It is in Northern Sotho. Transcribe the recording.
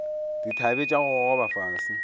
dithabe tša go gogoba fase